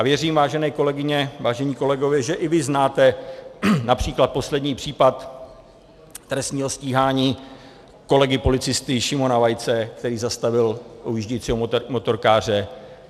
A věřím, vážené kolegyně, vážení kolegové, že i vy znáte například poslední případ trestního stíhání kolegy policisty Šimona Vaice, který zastavil ujíždějícího motorkáře.